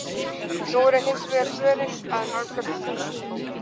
Nú eru hins vegar svörin að nálgast þúsund.